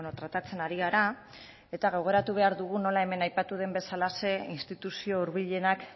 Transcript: tratatzen ari gara eta gogoratu behar dugu nola hemen aipatu den bezalaxe instituzio hurbilenak